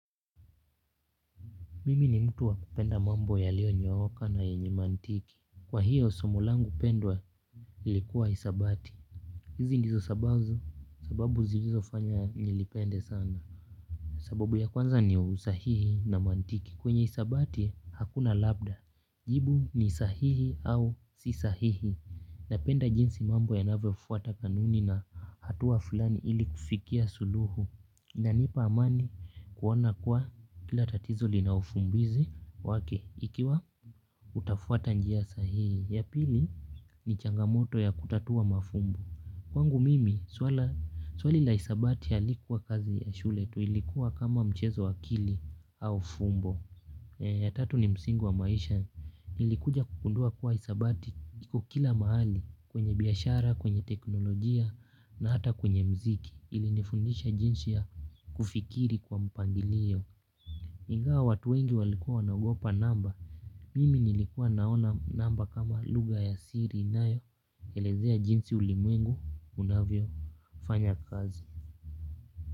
Mimi ni mtu wa kupenda mambo yaliyonyooka na yenye mantiki kwa hiyo somo langu pendwa ilikuwa hisabati hizi ndizo sababu zilizofanya nilipende sana. Sababu ya kwanza ni usahihi na mantiki kwenye hisabati hakuna labda jibu ni sahihi au si sahihi. Napenda jinsi mambo yanavyofuata kanuni na hatua fulani ili kufikia suluhu. Inanipa amani kuona kuwa kila tatizo lina ufumbuzi wake ikiwa utafuata njia sahihi. Ya pili ni changamoto ya kutatua mafumbu. Kwangu mimi, swali la hisabati halikukuwa kazi ya shule tu ilikuwa kama mchezo wa akili au fumbo. Ya tatu ni msingi wa maisha. Nilikuja kugundua kuwa hisabati iko kila mahali kwenye biashara, kwenye teknolojia na hata kwenye muziki ilinifundisha jinsi ya kufikiri kwa mpangilio ingawa watu wengi walikuwa wanagopa namba. Mimi nilikuwa naona namba kama lugha ya siri inayo elezea jinsi ulimwengu unavyofanya kazi.